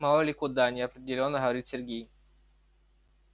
мало ли куда неопределённо говорит сергей